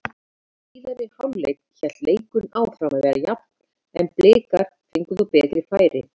Í síðari hálfleik hélt leikurinn áfram að vera jafn en Blikar fengu þó betri færi.